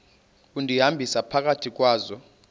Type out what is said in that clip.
undihambisa phakathi kwazo